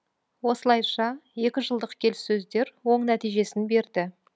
осылайша екі жылдық келіссөздер оң нәтижесін берді